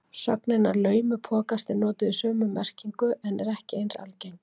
Sögnin að laumupokast er notuð í sömu merkingu en er ekki eins algeng.